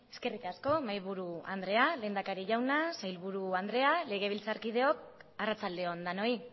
eskerrik asko mahaiburu andrea lehendakari jauna sailburu andrea legebiltzarkideok arratsalde on denoi